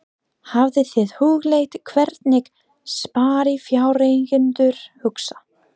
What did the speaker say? Hafið þið hugleitt hvernig sparifjáreigendur hugsa?